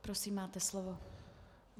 Prosím, máte slovo.